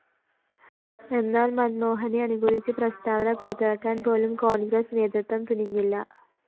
എന്നാല്‍ മന്‍മോഹനെ അനുകൂലിച്ച് പ്രസ്താവന പുറത്തിറക്കാന്‍പോലും കോണ്‍ഗ്രസ് നേതൃത്വം തുനിഞ്ഞില്ല